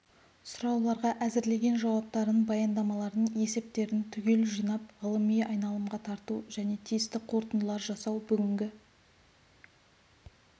сұрауларға әзірлеген жауаптарын баяндамаларын есептерін түгел жинап ғылыми айналымға тарту және тиісті қорытындылар жасау бүгінгі